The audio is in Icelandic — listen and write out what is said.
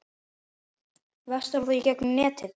Verslar þú í gegnum netið?